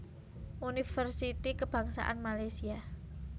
Universiti Kebangsaan Malaysia